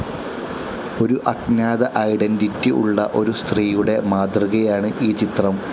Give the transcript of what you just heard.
ഒരു അഞ്ജാത ഐഡന്റിറ്റി ഉള്ള ഒരു സ്ത്രീയുടെ മാതൃകയാണ് ഈ ചിത്രം.